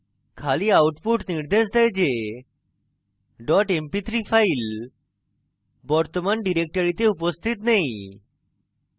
খালি output নির্দেশ দেয় যে dot mp3 file বর্তমান ডিরেক্টরিতে উপস্থিত নেই